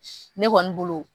Ne kɔni bolo